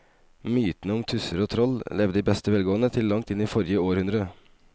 Mytene om tusser og troll levde i beste velgående til langt inn i forrige århundre.